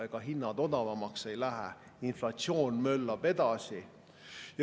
Ega hinnad odavamaks ei lähe, inflatsioon möllab edasi.